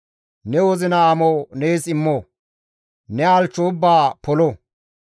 Ne wozina amo nees immo; ne halchcho ubbaa polo.